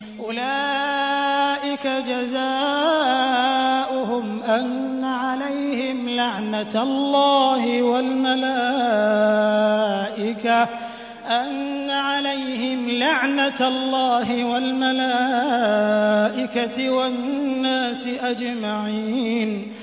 أُولَٰئِكَ جَزَاؤُهُمْ أَنَّ عَلَيْهِمْ لَعْنَةَ اللَّهِ وَالْمَلَائِكَةِ وَالنَّاسِ أَجْمَعِينَ